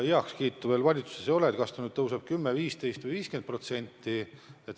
Valitsuses ei ole heaks kiidetud, kas see tõuseb 10, 15 või 50%.